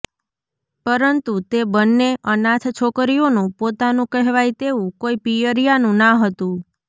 પરંતુ તે બંને અનાથ છોકરીઓનું પોતાનું કહેવાય તેવું કોઈ પિયરિયાનું ના હતું